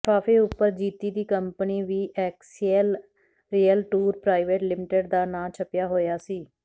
ਲਿਫਾਫੇ ਉਪਰ ਜੀਤੀ ਦੀ company VXL real tour private limited ਦਾ ਨਾਂ ਛੱਪਿਆ ਹੋਇਆ ਸੀ